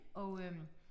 Og øh